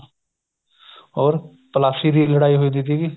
ਹੋਰ ਤਲਾਸ਼ੀ ਦੀ ਲੜਾਈ ਹੋਈ ਸੀਗੀ